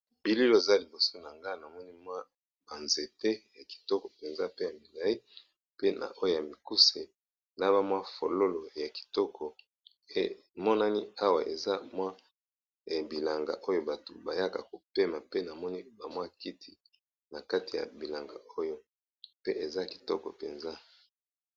bilelo eza liboso na nga namoni mwa banzete ya kitoko mpenza pe ya migai pe na oyo ya mikuse na bamwa fololo ya kitoko emonani awa eza mwa bilanga oyo bato bayaka kopema pe namoni bamwa kiti na kati ya bilanga oyo pe eza kitoko mpenza